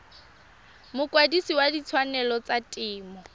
mokwadise wa ditshwanelo tsa temo